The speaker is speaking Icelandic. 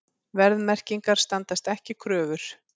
Verðmerkingar standast ekki kröfur